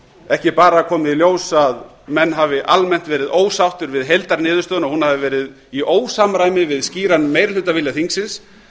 ekki bara komið í ljós að menn hafi almennt verið ósáttir við heildarniðurstöðuna hún hafi verið í ósamræmi við skýran meirihlutavilja þingsins